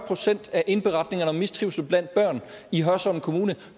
procent af indberetningerne om mistrivsel blandt børn i hørsholm kommune